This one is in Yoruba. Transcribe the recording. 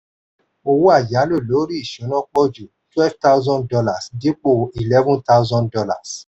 owó ayálò lori ìsúná pọ̀ jù twelve thousand dollars dípò eleven thousand dollars